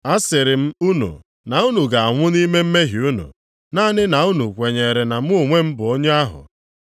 A sịrị m unu na unu ga-anwụ nʼime mmehie unu, naanị na unu kwenyere na mụ onwe m, bụ onye ahụ.”